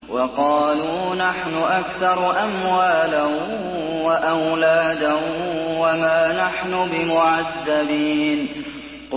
وَقَالُوا نَحْنُ أَكْثَرُ أَمْوَالًا وَأَوْلَادًا وَمَا نَحْنُ بِمُعَذَّبِينَ